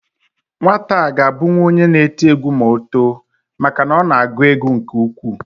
Nwata a ga abụnwu onye n'eti egwu ma o too maka na ọ na agụ egwu nke ukwuu